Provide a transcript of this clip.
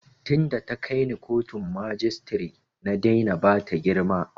Tin da ta kai ni kotun majistare na daina bata girma